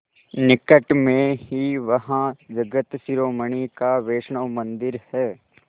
निकट में ही वहाँ जगत शिरोमणि का वैष्णव मंदिर है